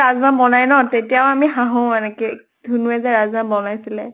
কাজলে ৰাজ্মা বনায় ন, তেতিয়াও আমি হাহো এনেকে। ধুনুয়ে যে ৰাজ্মা বনাইছিলে।